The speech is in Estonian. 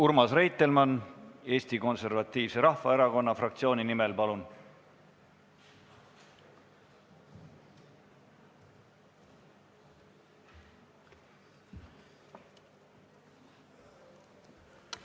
Urmas Reitelmann Eesti Konservatiivse Rahvaerakonna fraktsiooni nimel, palun!